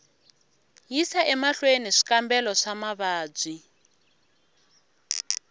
yisa emahlweni swikambelo swa mavabyi